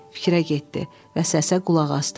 Fikrə getdi və səsə qulaq asdı.